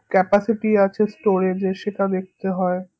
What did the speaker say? capacity আছে storage এ সেটা দেখতে হয়